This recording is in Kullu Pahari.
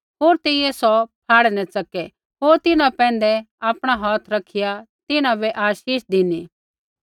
होर तेइयै सौ फाह्ड़ै न च़कै होर तिन्हां पैंधै आपणा हौथ रखिया तिन्हां बै आशीष धिनी